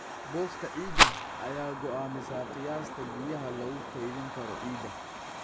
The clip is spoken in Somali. Booska ciidda ayaa go'aamisa qiyaasta biyaha lagu kaydin karo ciidda.